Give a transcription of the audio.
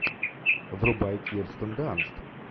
врубай кирстен данст